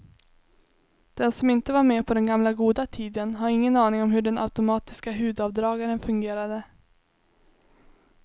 Den som inte var med på den gamla goda tiden har ingen aning om hur den automatiska hudavdragaren fungerade.